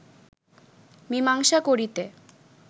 মীমাংসা করিতে